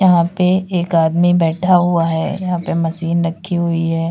यहाँ पे एक आदमी बैठा हुआ है यहां पे मशीन रखी हुई है।